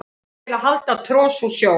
til að hala tros úr sjó